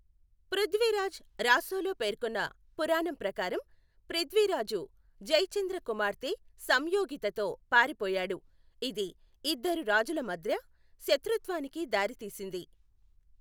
పృథ్వీరాజ్ రాసోలో పేర్కొన్న పురాణం ప్రకారం, ప్రిథ్విరాజు జైచంద్ర కుమార్తె సంయోగితతో పారిపోయాడు, ఇది ఇద్దరు రాజుల మధ్య శత్రుత్వానికి దారితీసింది.